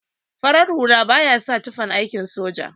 Farar hula baya sa tufan aikin soja.